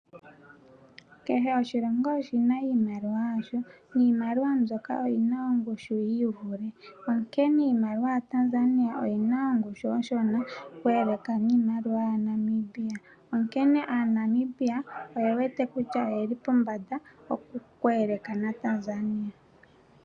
Kehe oshilongo oshina iimaliwa yasho, niimaliwa mbyoka oyina ongushui yiivule, onkene iimaliwa yaTanzania oyina ongushu onshona oku eleka niimaliwa yaNamibia onkene aaNamibia oye wete kutya oyeli pombanda oku eleka naTanzania.